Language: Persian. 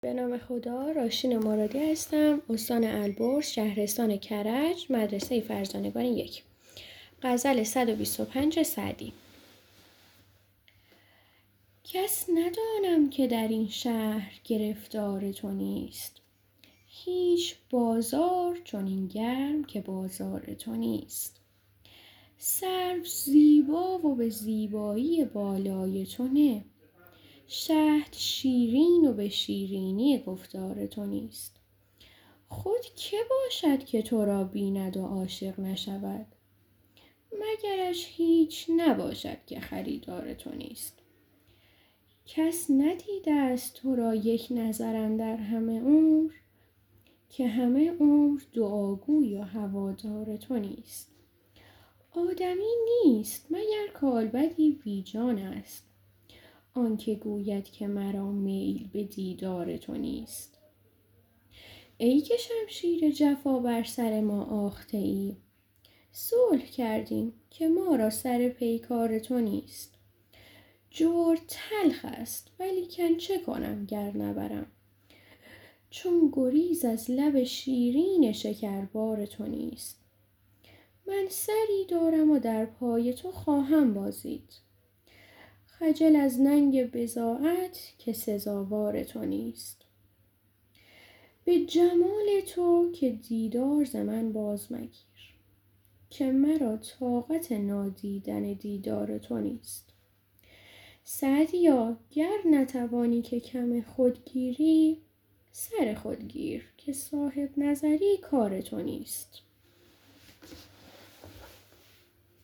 کس ندانم که در این شهر گرفتار تو نیست هیچ بازار چنین گرم که بازار تو نیست سرو زیبا و به زیبایی بالای تو نه شهد شیرین و به شیرینی گفتار تو نیست خود که باشد که تو را بیند و عاشق نشود مگرش هیچ نباشد که خریدار تو نیست کس ندیده ست تو را یک نظر اندر همه عمر که همه عمر دعاگوی و هوادار تو نیست آدمی نیست مگر کالبدی بی جانست آن که گوید که مرا میل به دیدار تو نیست ای که شمشیر جفا بر سر ما آخته ای صلح کردیم که ما را سر پیکار تو نیست جور تلخ ست ولیکن چه کنم گر نبرم چون گریز از لب شیرین شکربار تو نیست من سری دارم و در پای تو خواهم بازید خجل از ننگ بضاعت که سزاوار تو نیست به جمال تو که دیدار ز من باز مگیر که مرا طاقت نادیدن دیدار تو نیست سعدیا گر نتوانی که کم خود گیری سر خود گیر که صاحب نظر ی کار تو نیست